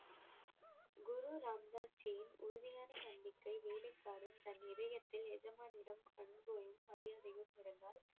குரு ராம் தாஸ் ஜி இன் உறுதியான நம்பிக்கை வேலைக்காரன் தன் இதயத்தில் எஜமானிடம் அன்பையும் மரியாதையும்